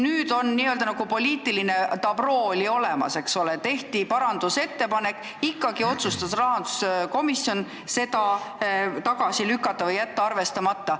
Nüüd on nagu poliitiline dabroo olemas, tehti parandusettepanek, aga ikkagi otsustas rahanduskomisjon selle tagasi lükata ehk jätta arvestamata.